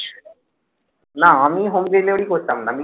না আমি Home delivery করতাম না আমি